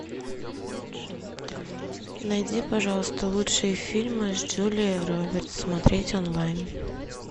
найди пожалуйста лучшие фильмы с джулией робертс смотреть онлайн